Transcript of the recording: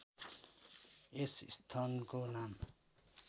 यस स्थनको नाम